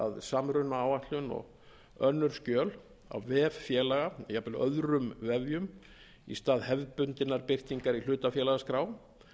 samrunaáætlun og önnur skjöl á vef félaga jafnvel öðrum vefjum í stað hefðbundinnar birtingar í hlutafélagaskrá